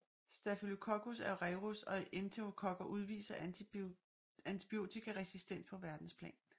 Staphylococcus aureus og enterokokker udviser antibiotikaresistens på verdensplan